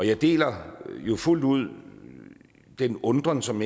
jeg deler jo fuldt ud den undren som